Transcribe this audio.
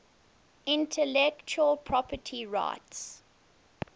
intellectual property rights